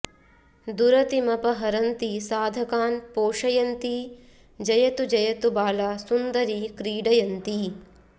दुरतिमपहरन्ती साधकान् पोषयन्ती जयतु जयतु बाला सुन्दरी क्रीडयन्ती